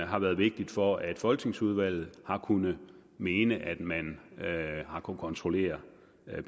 har været vigtigt for at folketingsudvalget har kunnet mene at man har kunnet kontrollere